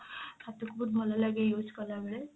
ହାତ କୁ ବହୁତ ଭଲ ଲାଗେ use କଲାବେଳେ